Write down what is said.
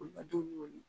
Olu ka dumuni